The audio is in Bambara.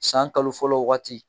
San kalo fɔlɔ waati